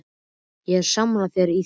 Ég er sammála þér í því.